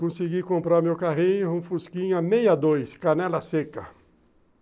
Consegui comprar meu carrinho um Fusquinha meia dois, canela seca.